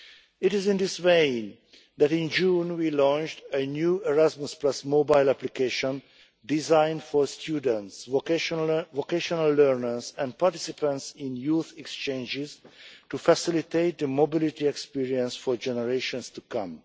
It is in this vein that in June we launched a new Erasmus mobile application designed for students, vocational learners and participants in youth exchanges to facilitate the mobility experience for generations to come.